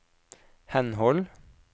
henhold